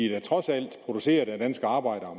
er da trods alt produceret af danske arbejdere